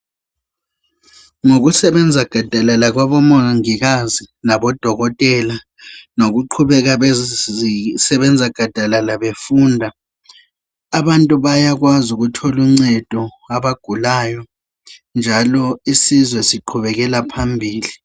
Ngokusebenza gadalala kwabomongikazi labodokotela nokuqhubeka bezisebenza gadalala befunda abantu bayakwazi ukuthola uncedo abagulayo njalo isizwe siqhubekela phambili.